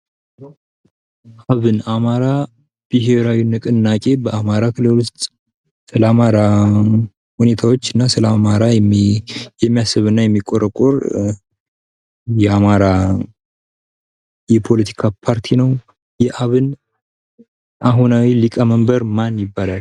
(አብን) አማራ ብሔራዊ ክልላዊ ንቅናቄ ስለ አማራ ሁኔታዎችና ስለ አማራ የሚያስብና የሚቆረቆር የአማራ የፖለቲካ ፓርቲ ነው። የአብን የአሁንዊ የሊቀመንበር ማን ይባላል?